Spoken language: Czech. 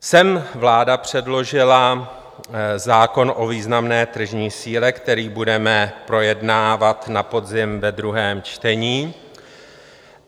Sem vláda předložila zákon o významné tržní síle, který budeme projednávat na podzim ve druhém čtení.